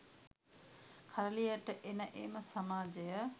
කරලියට එන එම සමාජය